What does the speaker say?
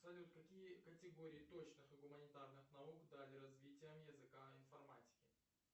салют какие категории точных и гуманитарных наук дали развитие языка информатики